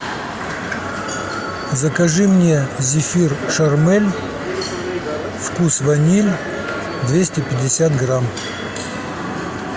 закажи мне зефир шармель вкус ваниль двести пятьдесят грамм